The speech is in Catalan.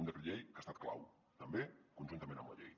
un decret llei que ha estat clau també conjuntament amb la llei